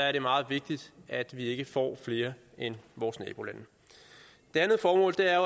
er det meget vigtigt at vi ikke får flere end vores nabolande det andet formål er